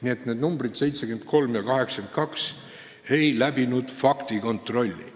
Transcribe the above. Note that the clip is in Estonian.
Nimetatud numbrid 73 ja 82 ei läbinud faktikontrolli.